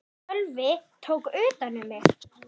Sölvi tók utan um mig.